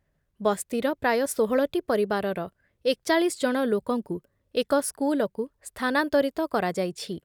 ବସ୍ତିର ପ୍ରାୟ ଷୋହଳଟି ପରିବାରର ଏକଚାଳିଶ ଜଣ ଲୋକଙ୍କୁ ଏକ ସ୍କୁଲକୁ ସ୍ଥାନାନ୍ତରିତ କରାଯାଇଛି ।